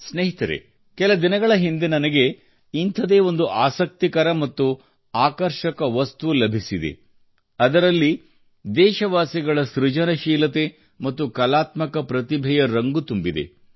ಸ್ನೇಹಿತರೆ ಕೆಲ ದಿನಗಳ ಹಿಂದೆ ನನಗೆ ಇಂಥದೇ ಒಂದು ಆಸಕ್ತಿಕರ ಮತ್ತು ಆಕರ್ಷಕ ವಸ್ತು ಲಭಿಸಿದೆ ಅದರಲ್ಲಿ ದೇಶವಾಸಿಗಳ ಸೃಜನಶೀಲತೆ ಮತ್ತು ಕಲಾತ್ಮಕ ಪ್ರತಿಭೆಯ ರಂಗು ತುಂಬಿದೆ